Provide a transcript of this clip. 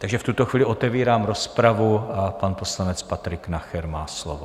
Takže v tuto chvíli otevírám rozpravu a pan poslanec Patrik Nacher má slovo.